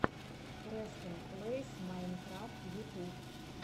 престон плэйс майнкрафт ютуб